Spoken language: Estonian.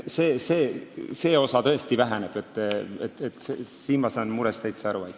See võimalus tõesti väheneb ja ma saan sellest murest täitsa aru.